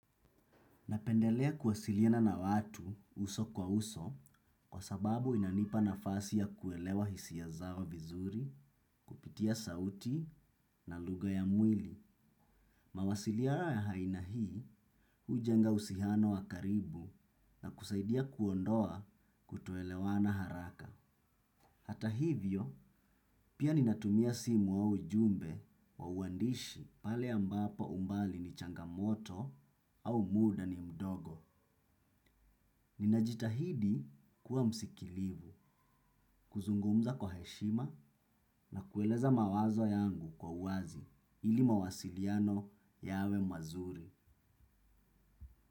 Napendelea kuwasilina na watu uso kwa uso kwa sababu inanipa nafasi ya kuelewa hisia zao vizuri, kupitia sauti na lugha ya mwili. Mawasiliano ya aina hii hujenga uhusiano wa karibu na kusaidia kuondoa kutoelewana haraka. Hata hivyo, pia ninatumia simu wa ujumbe kwa uandishi pale ambapo umbali ni changamoto au muda ni mdogo. Nina jitahidi kuwa msikilivu, kuzungumza kwa heshima na kueleza mawazo yangu kwa uwazi ili mawasiliano yawe mazuri.